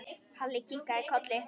Halli kinkaði kolli.